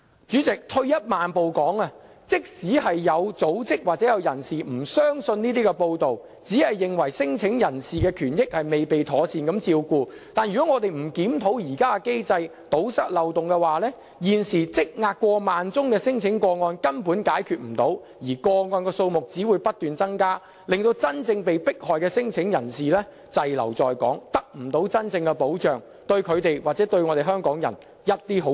主席，退一萬步而言，即使有組織或有人不相信這些報道，只認為聲請人的權益未被妥善照顧，但如果我們不檢討現行機制，堵塞漏洞的話，現時積壓過萬宗的聲請個案根本無法解決，而個案數目只會不斷增加，令真正被迫害的聲請人滯留在港，得不到真正的保障，對他們或港人毫無好處。